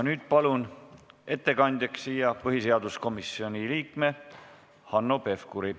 Nüüd palun ettekandjaks põhiseaduskomisjoni liikme Hanno Pevkuri.